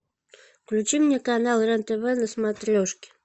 включи мне канал рен тв на смотрешке